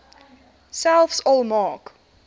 selfs al maak